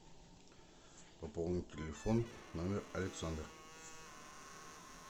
пополнить телефон номер александр